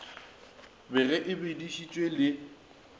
be ge e bedišitšwe le